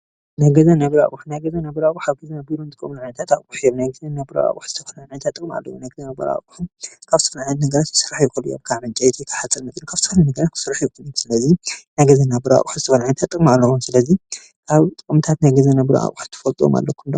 ናይ ገዛን ናይ ቢሮ ኣቑሑ ናይ ገዛን ናይ ቢሮ ኣቑሑ ኣብ ገዛን ኣብ ቢሮን ንጥቀመሎም ዓይነታ ኣቕሑ እዮም፡፡ ናይ ገዛን ናይ ቢሮ ኣቑሑ ዝተፈላለዩ ጥቕምታት ኣለዎም፡፡ ናይ ገዛን ናይ ቢሮ ኣቑሑ ካብ ዝተፈላለዩ ነገራት ክስርሑ ይኽእሉ እዮም፡፡ ካብ ዕንጨይቲ ፣ ካብ ሓፂን መፂን ካብ ዝተፈላለዩ ነገራት ክስራሕ ይኽእሉ፡፡ ስለዚ ናይ ገዛን ናይ ቢሮ ኣቕሑ ዝተፈላለዩ ጥቕሚ ኣለዎም፡፡ ስለዚ ካብ ጥቕምታት ናይ ገዛን ናይ ቢሮ ኣቐሑ ጥቅምታት ትፈልጥዎም ኣለኩምዶ?